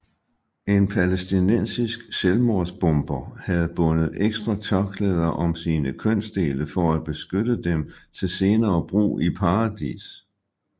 En palæstinensisk selvmordsbomber havde bundet ekstra tørklæder om sine kønsdele for at beskytte dem til senere brug i paradis